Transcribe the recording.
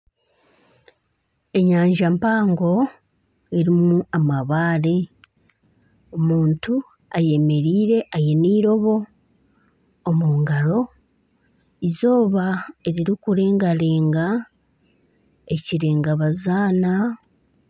Enyanja mpango erimu amabare , omuntu ayemereire aine eirobo omu ngaro eizooba ririkurengarenga ekirenga bazaana.